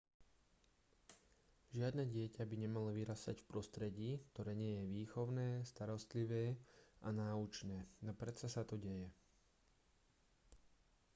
žiadne dieťa by nemalo vyrastať v prostredí ktoré nie je výchovné starostlivé a náučné no predsa sa to deje